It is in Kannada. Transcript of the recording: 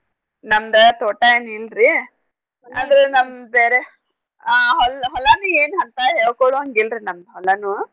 ನಮ್ದ್ ತೋಟ ಏನ್ ಇಲ್ರೀ ಆದ್ರೂ ನಮ್ದ್ ಬೇರೆ ಆ ಹೊಲ್~ ಹೊಲಾನು ಏನ್ ಹಂತಾ ಹೇಳ್ಕೊಳೊಹಂಗಿಲ್ರೀ ನಮ್ದ್ ಹೊಲಾನೂ.